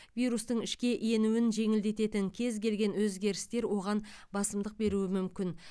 вирустың ішке енуін жеңілдететін кез келген өзгерістер оған басымдық беруі мүмкін